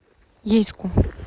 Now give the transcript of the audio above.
ейску